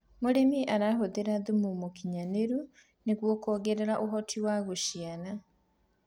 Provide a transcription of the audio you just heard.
mũrĩmi arahuthira thumu mũũkĩnyanĩru kuongerera uhoti wa guciara